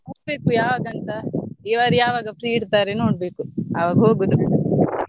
ನೋಡ್ಬೇಕು ಯಾವಾಗ ಅಂತ ಇವರು ಯಾವಾಗ free ಇರ್ತಾರೆ ನೋಡ್ಬೇಕು ಅವಾಗ ಹೋಗುದು.